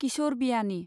किशोर बियानि